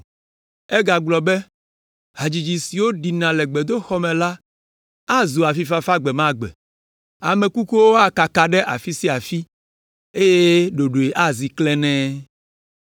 Egagblɔ be, “Hadzidzi siwo ɖina le gbedoxɔ me la azu avifafa gbe ma gbe. Ame kukuwo akaka ɖe afi sia afi, eye ɖoɖoe azi klẽnee.”